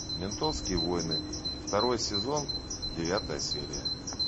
ментовские войны второй сезон девятая серия